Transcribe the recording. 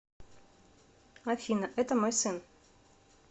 афина это мой сын